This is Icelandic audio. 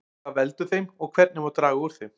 Hvað veldur þeim og hvernig má draga úr þeim?